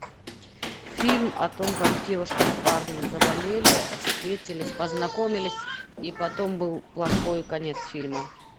фильм о том как девушка с парнем заболели встретились познакомились и потом был плохой конец фильма